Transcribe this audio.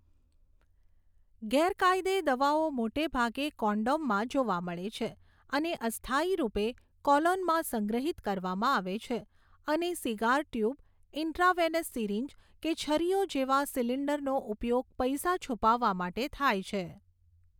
ગેરકાયદે દવાઓ મોટાભાગે કોન્ડોમમાં જોવા મળે છે અને અસ્થાયી રૂપે કોલોનમાં સંગ્રહિત કરવામાં આવે છે, અને સિગાર ટ્યુબ, ઇન્ટ્રાવેનસ સિરીંજ કે છરીઓ જેવા સિલિન્ડરનો ઉપયોગ પૈસા છુપાવવા માટે થાય છે.